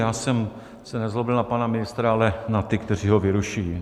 Já jsem se nezlobil na pana ministra, ale na ty, kteří ho vyrušují.